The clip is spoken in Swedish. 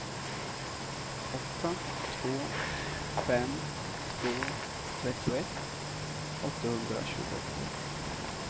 åtta två fem två trettioett åttahundratjugoåtta